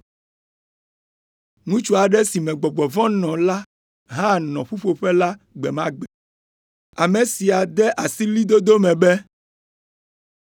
Ŋutsu aɖe si me gbɔgbɔ vɔ̃ nɔ la hã nɔ ƒuƒoƒe la gbe ma gbe. Ame sia de asi ɣlidodo me be,